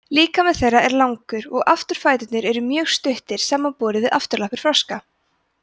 líkami þeirra er langur og afturfæturnir eru mjög stuttir samanborið við afturlappir froska